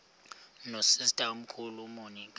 nosister omkhulu umonica